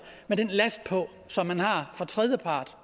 med den last på som man har fra tredjepart